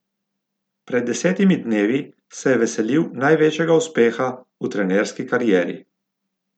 Pred desetimi dnevi se je veselil največjega uspeha v trenerski karieri.